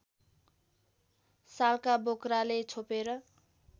सालका बोक्राले छोपेर